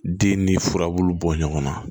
Den ni furabulu bɔ ɲɔgɔn na